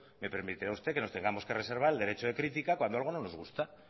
me permitirá usted que nos tengamos que reservar el derecho de crítica cuando algo no nos gusta